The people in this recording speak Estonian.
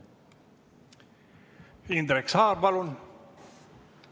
Indrek Saar, palun!